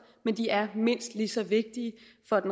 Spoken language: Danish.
men de er mindst lige så vigtige